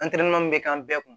An tɛmɛnen bɛ k'an bɛɛ kun